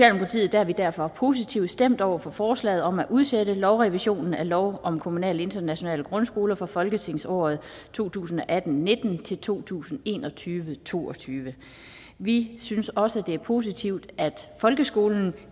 er vi derfor positivt stemt over for forslaget om at udsætte lovrevisionen af lov om kommunale internationale grundskoler for folketingsåret to tusind og atten til nitten til to tusind og en og tyve til to og tyve vi synes også at det er positivt at folkeskolen